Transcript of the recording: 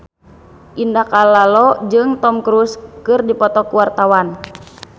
Indah Kalalo jeung Tom Cruise keur dipoto ku wartawan